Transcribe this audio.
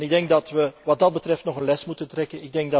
Ik denk dat wij wat dat betreft nog een les moeten trekken.